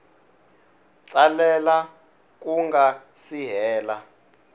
tsalela ku nga si hela